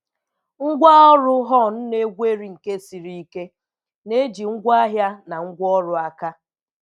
Ngwá ọrụ hone na-egweri nke siri ike, na-eji ngwaahịa na ngwaọrụ aka.